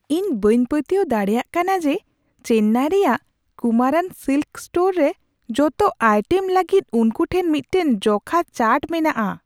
ᱤᱧ ᱵᱟᱹᱧ ᱯᱟᱹᱛᱭᱟᱹᱣ ᱫᱟᱲᱮᱭᱟᱜ ᱠᱟᱱᱟ ᱡᱮ ᱪᱮᱱᱱᱟᱭ ᱨᱮᱭᱟᱜ ᱠᱩᱢᱟᱨᱟᱱ ᱥᱤᱞᱠᱥ ᱥᱴᱳᱨ ᱨᱮ ᱡᱚᱛᱚ ᱟᱭᱴᱮᱢ ᱞᱟᱹᱜᱤᱫ ᱩᱱᱠᱩ ᱴᱷᱮᱱ ᱢᱤᱫᱴᱟᱝ ᱡᱚᱠᱷᱟ ᱪᱟᱨᱴ ᱢᱮᱱᱟᱜᱼᱟ ᱾